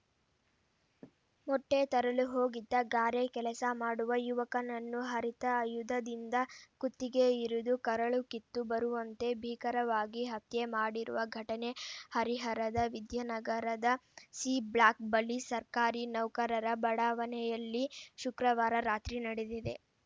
ಮೊಟ್ಟೆತರಲು ಹೋಗಿದ್ದ ಗಾರೆ ಕೆಲಸ ಮಾಡುವ ಯುವಕನನ್ನು ಹರಿತ ಆಯುಧದಿಂದ ಕುತ್ತಿಗೆ ಇರಿದು ಕರಳು ಕಿತ್ತು ಬರುವಂತೆ ಭೀಕರವಾಗಿ ಹತ್ಯೆ ಮಾಡಿರುವ ಘಟನೆ ಹರಿಹರದ ವಿದ್ಯಾನಗರದ ಸಿ ಬ್ಲಾಕ್‌ ಬಳಿ ಸರ್ಕಾರಿ ನೌಕರರ ಬಡಾವಣೆಯಲ್ಲಿ ಶುಕ್ರವಾರ ರಾತ್ರಿ ನಡೆದಿದೆ